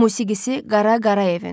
Musiqisi Qara Qarayevindir.